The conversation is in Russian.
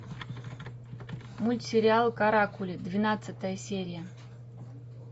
мультсериал каракули двенадцатая серия